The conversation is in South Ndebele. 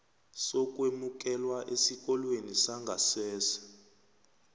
sokwemukelwa esikolweni sangasese